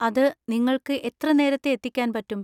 അത് നിങ്ങൾക്ക് എത്ര നേരത്തെ എത്തിക്കാൻ പറ്റും?